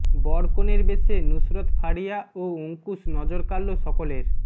বর কনের বেশে নুসরত ফারিয়া ও অঙ্কুশ নজর কাড়ল সকলের